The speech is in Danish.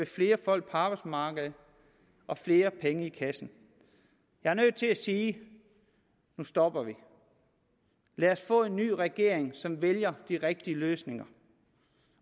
flere folk på arbejdsmarkedet og flere penge i kassen jeg er nødt til at sige nu stopper vi lad os få en ny regering som vælger de rigtige løsninger